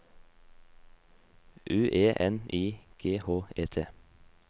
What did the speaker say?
U E N I G H E T